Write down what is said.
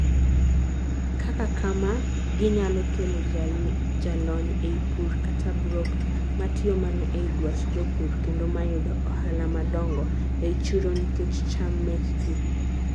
kaka kamaa, ginyalo kelo jalony ei pur kata broker matiyo mana ei dwach jopur kendo mayudo ohala madongo ei chiro nikech cham mekgi